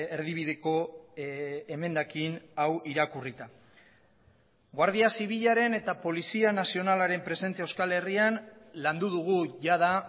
erdibideko emendakin hau irakurrita guardia zibilaren eta polizia nazionalaren presentzia euskal herrian landu dugu jada